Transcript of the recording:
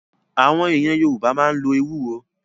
Àwọn èèyàn Yorùbá máa ń lo Ewúro